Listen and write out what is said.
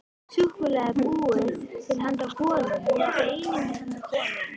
Súkkulaði er búið til handa konum, já, eingöngu handa konum.